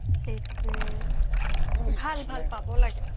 সেইটোৱে ভাল ভাল মানে পাব লাগে